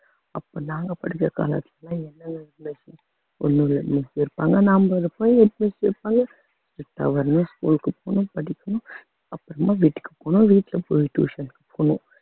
அப்ப நாங்க படிச்ச college க்கு எல்லாம் என்ன explanation ஒண்ணும் இல்லை இன்னைக்கு நான் ஒரு போய் school க்கு போகணும் படிக்கணும் அப்புறமா வீட்டுக்கு போகணும் வீட்டுல போய் tuition க்கு போகணும்